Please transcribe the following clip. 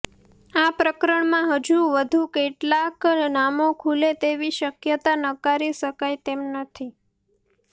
આ પ્રકરણમાં હજુ વધુ કેટલાંક નામો ખુલે તેવી શક્યતા નકારી શકાય તેમ નથી